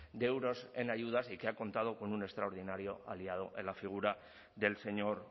de euros en ayudas y que ha contado con un extraordinario aliado en la figura del señor